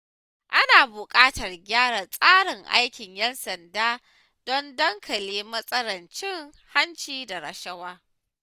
Ana buƙatar gyara tsarin aikin ƴan sanda don daƙile matsalar cin hanci da rashawa.